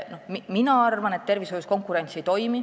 Mina arvan, et tervishoius konkurents ei toimi.